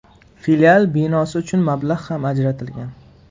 Filial binosi uchun mablag‘ ham ajratilgan.